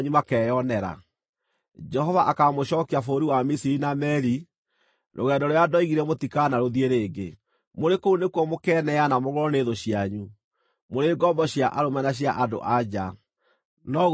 Jehova akaamũcookia bũrũri wa Misiri na meeri, rũgendo rũrĩa ndoigire mũtikanarũthiĩ rĩngĩ. Mũrĩ kũu nĩkuo mũkeneana mũgũrwo nĩ thũ cianyu, mũrĩ ngombo cia arũme na cia andũ-a-nja, no gũtirĩ mũndũ ũkaamũgũra.